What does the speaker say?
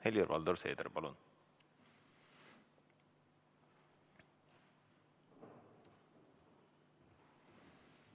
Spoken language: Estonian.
Helir-Valdor Seeder, palun!